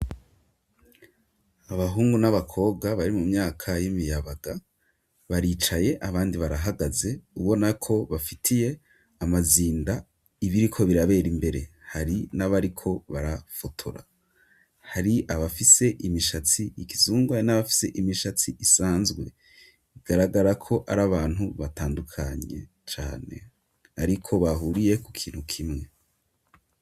Abahungu n'abakobwa bari mu myaka y'imiyabaga baricaye abandi barahagaze ubonako bafitiye amazinda ibiri ko birabera imbere hari n'abariko barafotora hari abafise imishatsi ikizungwa n'abafise imishatsi isanzwe garagara ko ari abantu batandukanye cane, ariko bahuriye ku kintu kimwe.